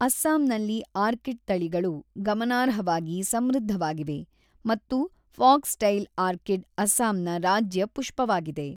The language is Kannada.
ಅಸ್ಸಾಂನಲ್ಲಿ ಆರ್ಕಿಡ್ ತಳಿಗಳು ಗಮನಾರ್ಹವಾಗಿ ಸಮೃದ್ಧವಾಗಿವೆ ಮತ್ತು ಫಾಕ್ಸ್‌ಟೈಲ್ ಆರ್ಕಿಡ್ ಅಸ್ಸಾಂನ ರಾಜ್ಯ ಪುಷ್ಪವಾಗಿದೆ.